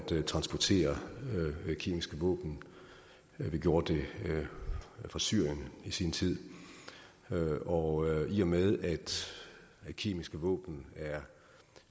transportere kemiske våben vi gjorde det fra syrien i sin tid og i og med at kemiske våben er